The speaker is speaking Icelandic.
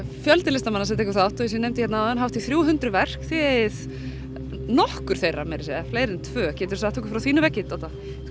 fjöldi listamanna sem tekur þátt og eins og ég nefndi hérna áðan hátt í þrjú hundruð verk þið eigið nokkur þeirra meira að segja eða fleiri en tvö geturðu sagt okkur frá þínu verki Dodda